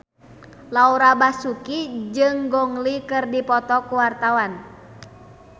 Laura Basuki jeung Gong Li keur dipoto ku wartawan